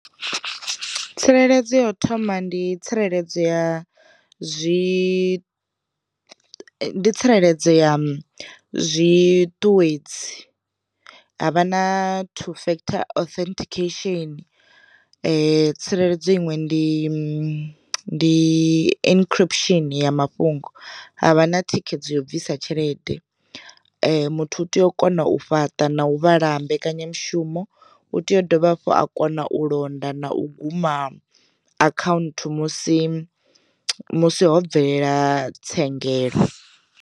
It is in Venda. Tsireledzo ya u thoma ndi tsireledzo ya zwi ndi tsireledzo ya zwiṱuwedzi, ha vha na two factor authentication, tsireledzo iṅwe ndi ndi i inikhiripushini ya mafhungo, havha na thikhedzo yo bvisa tshelede, muthu u tea u kona u fhaṱa na u u vhala mbekanyamushumo, u tea u dovha hafhu a kona u londa na u guma akhaunthu musi musi ho bvelela tsengelo.